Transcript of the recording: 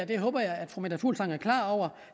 det håber jeg at fru meta fuglsang er klar over